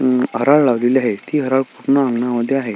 अ म हराळ लावलेली आहे ती हराळ पूर्ण अंगणामध्ये आहे.